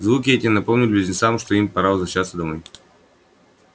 звуки эти напомнили близнецам что им пора возвращаться домой